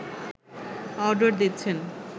order দিচ্ছেন